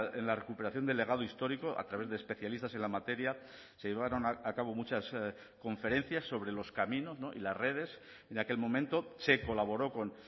en la recuperación del legado histórico a través de especialistas en la materia se llevaron a cabo muchas conferencias sobre los caminos y las redes en aquel momento se colaboró con